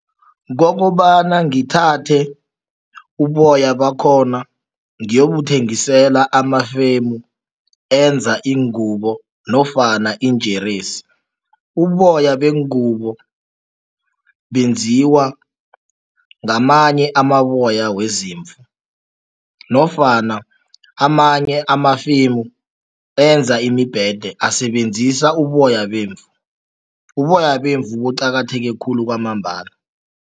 Kokobana ngithathe uboya bakhona ngiyobuthengisela amafemu enza iingubo nofana iinjeresi. Uboya bengubo benziwa ngamanye amaboya wezimvu nofana amanye amafemu enza imibhede asebenzisa uboya bemvu. Uboya bemvu buqakatheke khulu kwamambala.